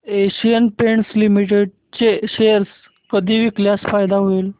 Asian Paints Limited चे share कधी विकल्यास फायदा होईल